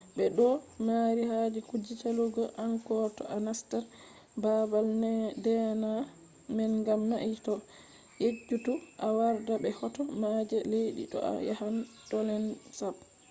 be do mari haje kuje salugo angkor to a nastan babal deena man gam mai ta yejjutu a warda be hoto ma je leddi to a yahan tonle sap